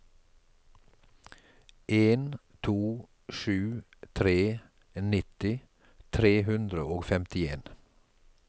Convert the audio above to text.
en to sju tre nitti tre hundre og femtien